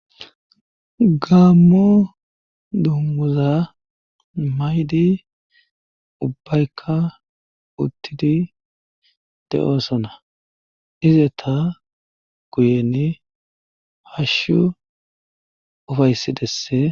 gaammo dummuza maydi ubbaykka uttidi de7osona izeta guyeni hashshu ufaysidesse